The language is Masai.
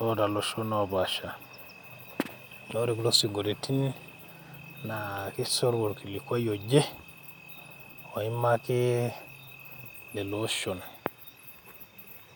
loota iloshon opaasha naa ore kulo sinkoliotin naa kishoru orkilikwai oje oimaki lelo oshon.